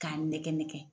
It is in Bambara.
K'a nɛgɛn nɛgɛn